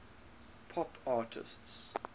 pop artists